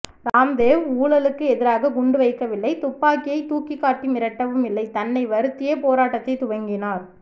ராம்தேவ் ஊழலுக்கு எதிராக குண்டு வைக்க வில்லை துப்பாக்கியை தூக்கி காட்டி மிரட்டவும் இல்லை தன்னை வருத்தியே போராட்டத்தை துவங்கினார்